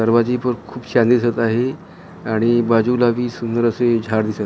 दरवाजे पण खूप छान दिसतं आहे आणि बाजूला ही सुंदर असे झाडं दिसतं आहे.